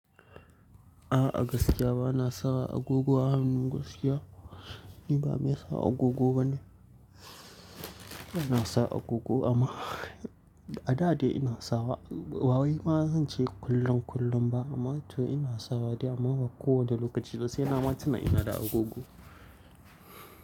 A'a gaskiya bana sa agogo a hannun gaskiya. Ni ba mai sa agogo bane. Bana sa agogo amma a da dai ina sawa. Ba wai bazan ce kullum-kullum ba amma to ina sawa dai amma ba kowane lokaci ba sai na ma tina da agogo.